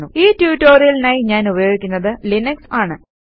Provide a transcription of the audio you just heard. ഈ ട്യൂട്ടോറിയലിനായി ഞാൻ ഉപയോഗിക്കുന്നത് ലിനക്സ് ആണ്